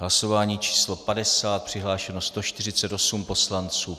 Hlasování číslo 50. Přihlášeno 148 poslanců.